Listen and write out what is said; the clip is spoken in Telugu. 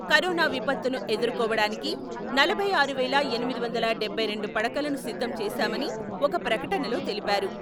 కరోనా విపత్తును ఎదుర్కోవడానికి నలభై ఆరు వేల ఎనిమిది వందల డబ్బై రెండు పడకలను సిద్ధంచేశామని ఒక ప్రకటనలో తెలిపారు.